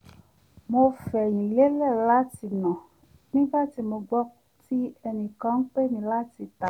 mò fẹ̀yìn lélẹ̀ láti nà nígbà tí mo gbọ́ tí ẹnìkan ń pè mí láti ìta